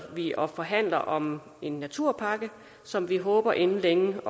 og forhandler om en naturpakke som vi håber inden længe